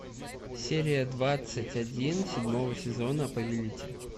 серия двадцать один седьмого сезона повелитель